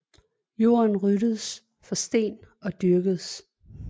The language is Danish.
Jorden ryddedes for sten og dyrkedes